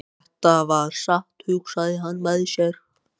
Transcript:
Þetta var satt, hugsaði hann með sér.